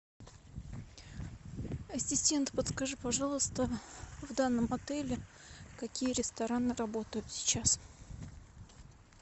ассистент подскажи пожалуйста в данном отеле какие рестораны работают сейчас